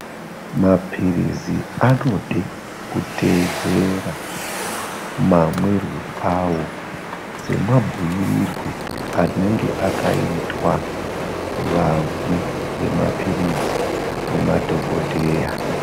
Mapirizi anode kuteedzera mamwirwe awo semabhuirirwe anenge akaitwa vamwi vemapirizi nemadhokodheya.